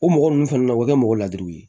O mɔgɔ ninnu fɛnɛ na o bɛ kɛ mɔgɔ ladiriw ye